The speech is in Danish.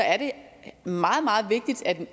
at